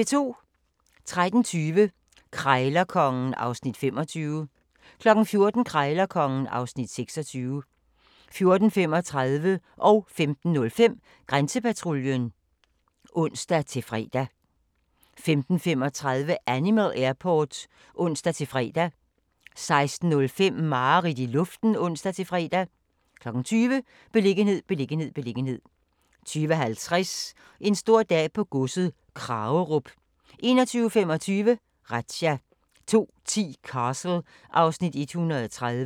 13:20: Krejlerkongen (Afs. 25) 14:00: Krejlerkongen (Afs. 26) 14:35: Grænsepatruljen (ons-tor) 15:05: Grænsepatruljen (ons-fre) 15:35: Animal Airport (ons-fre) 16:05: Mareridt i luften (ons-fre) 20:00: Beliggenhed, beliggenhed, beliggenhed 20:50: En stor dag på godset - Kragerup 21:25: Razzia 02:10: Castle (Afs. 130)